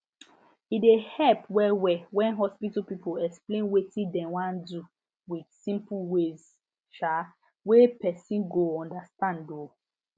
e dey help wellwell when hospital people explain wetin dem wan do with simple ways um wey person go understand um